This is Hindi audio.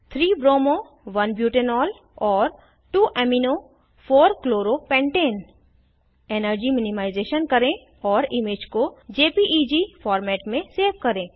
3 bromo 1 बुटानोल और 2 amino 4 chloro pentane energy minimisation करें और इमेज को जेपीईजी फॉर्मेट में सेव करें